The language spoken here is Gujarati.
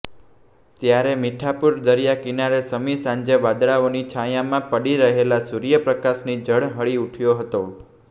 ત્યારે મીઠાપુર દરિયા કિનારે સમી સાંજે વાદળાઓની છાંયામાં પડી રહેલા સુર્ય પ્રકાશથી ઝળહળી ઉઠયો હતો